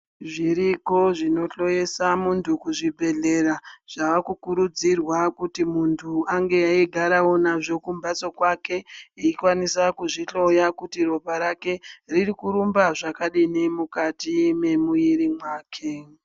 Zviriko zvinohloyeswe muntu kuzvibhedhlera zvaakukurudzirwa kuti muntu ange eigarawo nazvo kumbatso kwake kuti eikwanisa kuzvihloya kuti topa rake riri kurumba zvakadini mwemwiri wake.